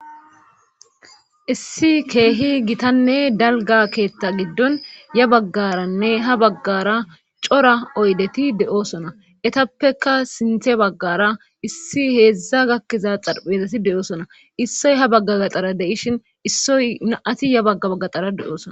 issi keehi gitanne dalga keetta giddon ya baggaranne ha baggara cora oydeti de7osona etappeka sinthe baggara issi heedzdza gakkiza xarphezasi de7oosona issoy ha bagga gaxara de7ishin issoy na7ati ya bagga baggaxara de7oosona